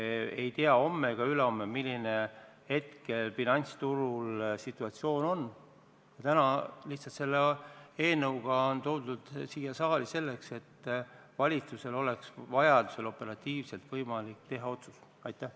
Me ei tea homse ega ülehomse kohta, milline on siis finantsturu situatsioon, ja täna on see eelnõu toodud siia saali lihtsalt selleks, et valitsusel oleks vajaduse korral operatiivselt võimalik otsus teha.